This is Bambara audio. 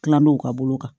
Tilaw ka bolo kan